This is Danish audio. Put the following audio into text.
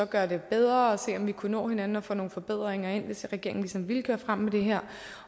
gøre det bedre og se om vi kunne nå hinanden og få nogle forbedringer ind hvis regeringen ligesom ville køre frem med det her